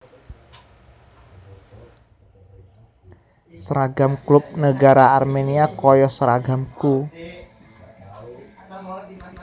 Seragam klub negara Armenia koyo seragamku